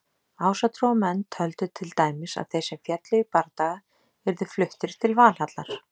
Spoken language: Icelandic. Ásatrúarmenn töldu til dæmis að þeir sem féllu í bardaga yrðu fluttir til Valhallar.